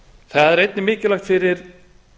það er einnig mikilvægt fyrir